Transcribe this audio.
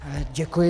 Děkuji.